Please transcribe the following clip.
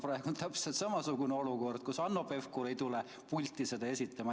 Praegu on täpselt samasugune olukord, kus Hanno Pevkur ei ole tulnud pulti eelnõu esitama.